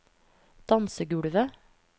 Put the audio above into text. dansegulvet